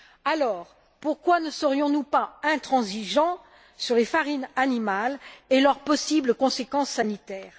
Alors, pourquoi ne serions nous pas intransigeants sur les farines animales et leurs possibles conséquences sanitaires?